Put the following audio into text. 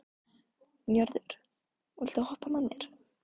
Njörður, viltu hoppa með mér?